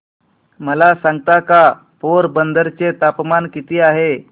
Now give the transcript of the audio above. मला सांगता का पोरबंदर चे तापमान किती आहे